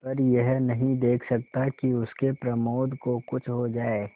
पर यह नहीं देख सकता कि उसके प्रमोद को कुछ हो जाए